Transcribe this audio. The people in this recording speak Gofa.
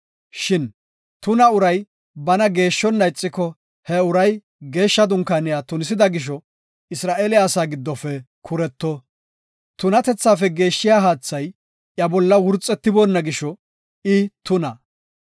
“Shin tuna uray bana geeshshonna ixiko, he uray geeshsha dunkaaniya tunisida gisho, Isra7eele asaa giddofe kuretto; tunatethaafe geeshshiya haathay iya bolla wurxetiboona gisho I tuna.